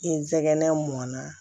I nsɛgɛn na